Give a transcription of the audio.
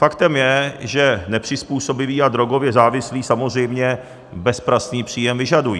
Faktem je, že nepřizpůsobiví a drogově závislí samozřejmě bezpracný příjem vyžadují.